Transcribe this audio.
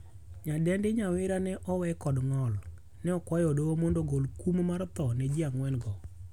Nyadendi Nyawira ne owe kod ng'ol. Ne okwayo doho mondo ogol kum mar tho ne jii angwen go.